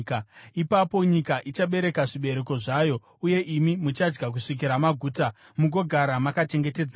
Ipapo nyika ichabereka zvibereko zvayo uye imi muchadya kusvikira maguta, mugogara makachengetedzeka.